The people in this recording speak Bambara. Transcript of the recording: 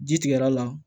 Ji tigɛ l'a la